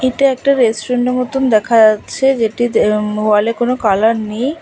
এটা একটা রেস্টুরেন্ট -এর মতন দেখা যাচ্ছে যেটিতে উম ওয়াল -এ কোনো কালার নেই।